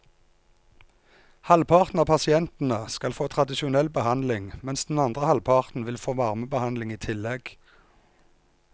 Halvparten av pasientene skal få tradisjonell behandling, mens den andre halvparten vil få varmebehandling i tillegg.